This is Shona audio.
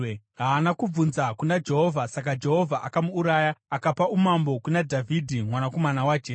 Haana kubvunza kuna Jehovha. Saka Jehovha akamuuraya akapa umambo kuna Dhavhidhi mwanakomana waJese.